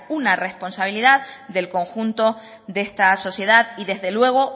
una responsabilidad del conjunto de esta sociedad y desde luego